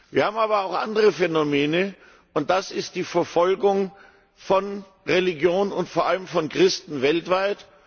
Wir haben aber auch andere Phänomene, und das ist die Verfolgung von Religion und vor allem von Christen weltweit.